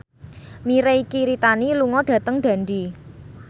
Mirei Kiritani lunga dhateng Dundee